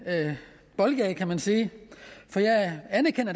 boldgade kan man sige